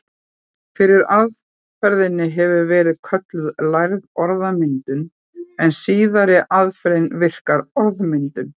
Fyrri aðferðin hefur verið kölluð lærð orðmyndun en síðari aðferðin virk orðmyndun.